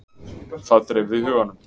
Það dreifði huganum.